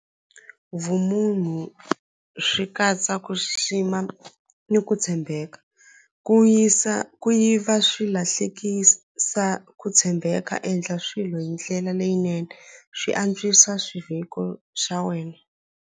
Vumunhu swi katsa ku xixima ni ku tshembeka ku yisa ku yiva swi lahlekisa ku tshembeka endla swilo hi ndlela leyinene swi antswisa xiviko xa wena.